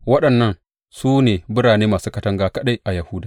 Waɗannan su ne birane masu katanga kaɗai a Yahuda.